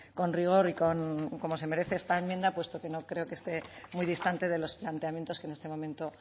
con rigor y con como se merece esta enmienda puesto que no creo que esté muy distante de los planteamientos que en este momento